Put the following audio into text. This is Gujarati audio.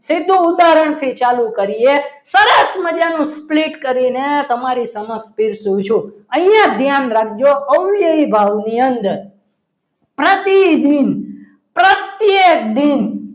સીધો ઉદાહરણથી ચાલુ કરીએ સરસ મજાનું sleet કરીને તમારી સમક્ષ ભેજુ છું અહીં ધ્યાન રાખજો અવયવી ભાવની અંદર પ્રતિદિન પ્રત્યેક દિન